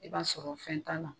I b'a sɔrɔ fɛn t'a la.